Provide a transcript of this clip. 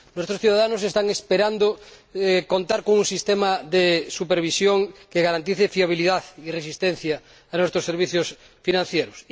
Nuestros ciudadanos están esperando contar con un sistema de supervisión que garantice fiabilidad y resistencia a nuestros servicios financieros.